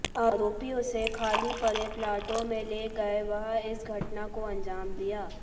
आरोपी उसे खाली पड़े प्लाटों में ले गए व इस घटना को अंजाम दिया